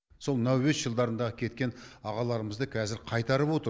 сол мынау өс жылдарындағы кеткен ағаларымызды қазір қайтарып отыр